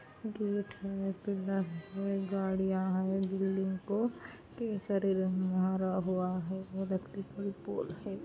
Gate है pillar है गाड़िया है बिल्डिंग को कई सारे रंग मारा हुआ है इलेक्ट्रिक की पोल है।